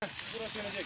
Bura sönəcək ya.